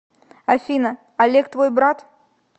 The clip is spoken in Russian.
афина олег твой брат